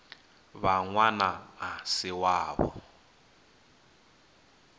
vha ṅwana a si wavho